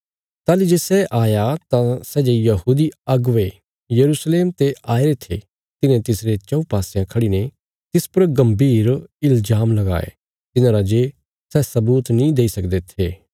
ताहली जे सै आया तां सै जे यहूदी अगुवे यरूशलेम ते आईरे थे तिन्हें तिसरे चऊँ पासयां खड़ीने तिस पर गम्भीर इल्जाम लगाये तिन्हांरा जे सै सबूत नीं देई सकदे थे